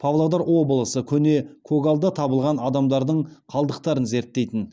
павлодар облысы көне көгалда табылған адамдардың қалдықтарын зерттейтін